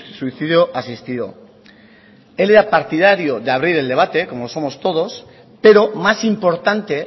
suicidio asistido él era partidario de abrir el debate como lo somos todos pero más importante